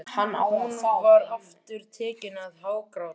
Hún var aftur tekin að hágráta.